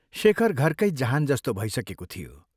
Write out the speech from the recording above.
शेखर घरकै जहान जस्तो भइसकेको थियो।